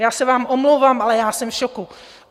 Já se vám omlouvám, ale já jsem v šoku.